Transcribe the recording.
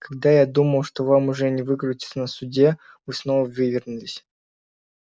когда я думал что вам уже не выкрутиться на суде вы снова вывернулись